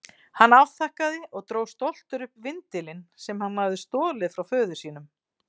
Hann afþakkaði og dró stoltur upp vindilinn sem hann hafði stolið frá föður sínum.